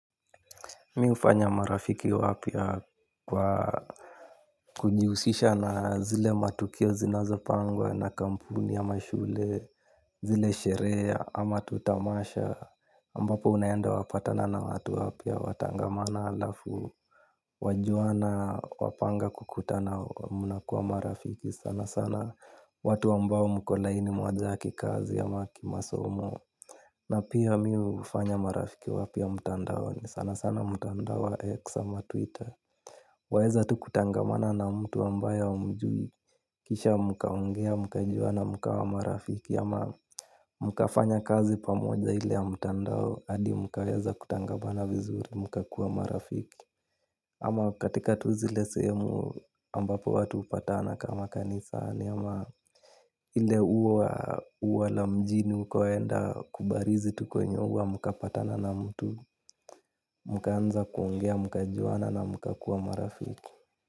Mimi hufanya marafiki wapya kwa kujihusisha na yale matukio yanayopangwa na kampuni ama shule. Zile sherehe ama tu tamasha ambapo unaenda, unakutana na watu wapya, mnatangamana, halafu wajuana, wapanga kukutana mnakuwa marafiki sana sana. Watu ambao mko laini moja ya kikazi ama kimasomo na pia mimi hufanya marafiki wapya mtandaoni, sana sana mtandao wa X ama Twitter. Waweza tu kuchangamana na mtu ambaye humjui. Kisha mkaongea, mkajuana, mkawa marafiki ama mkafanya kazi pamoja ile ya mtandao hadi mkaweza kutangamana vizuri, mkakuwa marafiki. Ama katika tu zile sehemu ambapo watu hupatana kama kanisani ama ile ua la mjini, ukienda kubarizi tu kwenye ua, mkakutana na mtu. Mkaanza kuongea mkajuana na mkakuwa marafiki.